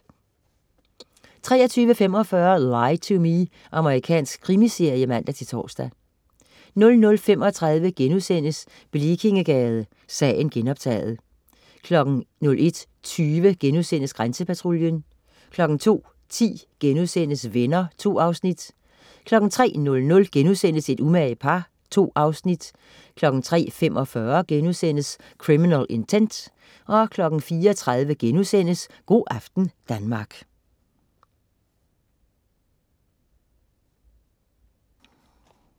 23.45 Lie to Me. Amerikansk krimiserie (man-tors) 00.35 Blekingegade, sagen genoptaget* 01.20 Grænsepatruljen* 02.10 Venner* 2 afsnit 03.00 Et umage par* 2 afsnit 03.45 Criminal Intent* 04.30 Go' aften Danmark*